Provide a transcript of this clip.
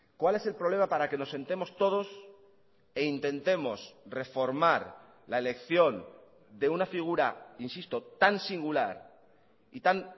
cuál es el problema para que nos sentemos todos e intentemos reformar la elección de una figura insisto tan singular y tan